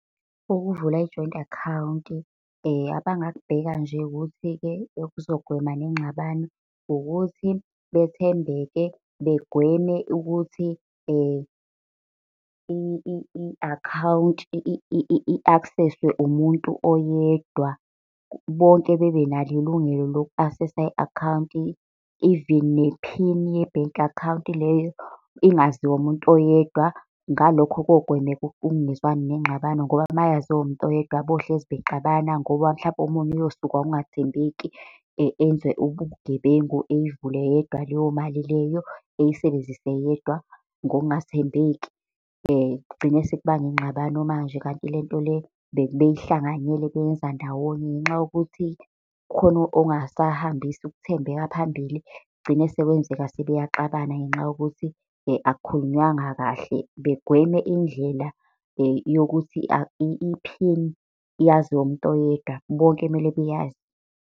Ukuvula i-joint account, abangakubheka nje ukuthi-ke, okuzogwema nengxabano. Ukuthi bethembeke, begweme ukuthi i-akhawunti i-access-we umuntu oyedwa. Bonke bebenalo ilungelo lokhu asesa i-akhawunti. Even ne-pin ye-bank account leyo ingaziwa umuntu oyedwa, ngalokho kogwemeka ukungezwani, nengxabano. Ngoba mayaziwa umuntu oyedwa bohlezi bexabana ngoba mhlampe omunye uyosukwa ukungathembeki enze ubugebengu eyivule yedwa leyo mali leyo eyisebenzise yedwa ngokungathembeki. kugcine sekubanga ingxabano manje, kanti lento le bebeyihlanganyele beyenza ndawonye. Ngenxa yokuthi khona ongasahambisi ukuthembeka phambili, kugcine sekwenzeka sebeyaxabana, ngenxa yokuthi akukhulunywanga kahle. Begweme indlela yokuthi iphini yaziwe umuntu oyedwa, bonke kumele beyazi.